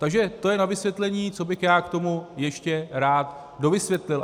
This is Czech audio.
Takže to je na vysvětlení, co bych já k tomu ještě rád dovysvětlil.